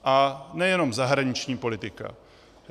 A nejenom zahraniční politika.